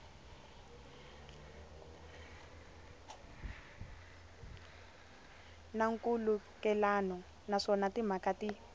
na nkhulukelano naswona timhaka ti